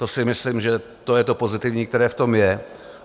To si myslím, že to je to pozitivní, které v tom je.